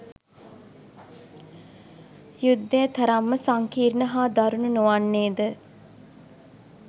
යුද්ධය තරම්ම සංකීර්ණ හා දරුණු නොවන්නේද?